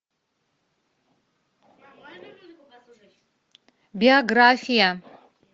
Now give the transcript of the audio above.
биография